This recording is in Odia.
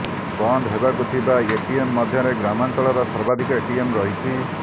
ବନ୍ଦ ହେବାକୁ ଥିବା ଏଟିଏମ୍ ମଧ୍ୟରେ ଗ୍ରାମାଞ୍ଚଳର ସର୍ବାଧିକ ଏଟିଏମ୍ ରହିଛି